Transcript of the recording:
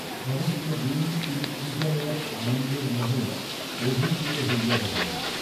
সমস্তদিন তিনি কি যেন এক আনন্দের মোহে অভিভূত হইয়া রহিলেন।